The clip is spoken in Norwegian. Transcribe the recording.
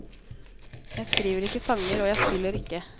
Jeg skriver ikke sanger, og jeg spiller ikke.